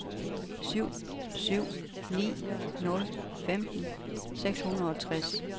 syv syv ni nul femten seks hundrede og tres